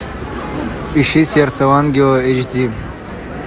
ищи сердце ангела эйч ди